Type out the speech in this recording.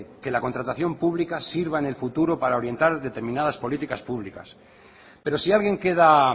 que la contratación pública sirva en el futuro para orientar determinadas políticas públicas pero si alguien queda